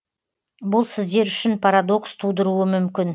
бұл сіздер үшін парадокс тудыруы мүмкін